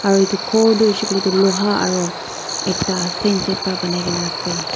Aro etu khor toh hoishey koile tu loha aro ekta pa banaikaena ase.